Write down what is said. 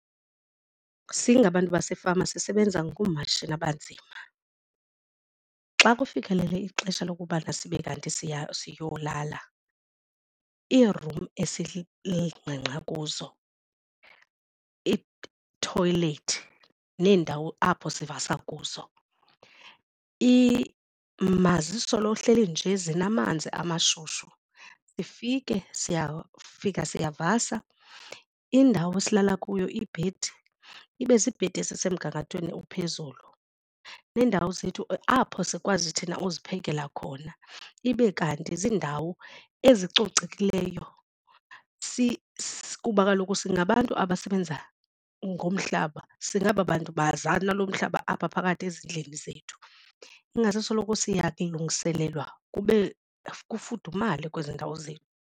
Singabantu basefama sisebenza ngoomatshini abanzima. Xa kufikelele ixesha lokubana sibe kanti siyolala iirum esingqengqa kuzo, iithoyilethi neendawo apho sivasa kuzo mazisolo hleli nje zinamanzi umashushu. Sifike siyafika siyavasa, indawo esilala kuyo ibhedi ibe ziibhedi ezisemgangathweni ophezulu neendawo zethu apho sikwazi thina uziphekela khona ibe kanti ziindawo ezicocekileyo kuba kaloku singabantu abasebenza ngomhlaba singaba bantu baza nalo mhlaba apha phakathi ezindlini zethu. Ingase soloko siyalungiselelwa kube kufudumale kwezi ndawo zethu.